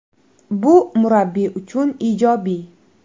Bu murabbiy uchun ijobiy.